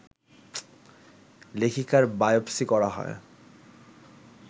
লেখিকার biopsy করা হয়